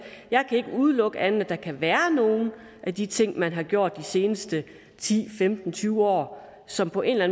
jeg ikke kan udelukke at der kan være nogle af de ting som man har gjort de seneste ti femten tyve år som på en eller